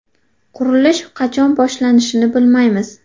Qurilish qachon boshlanishini bilmaymiz”.